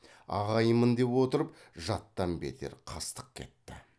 ағайынмын деп отырып жаттан бетер қастық кетті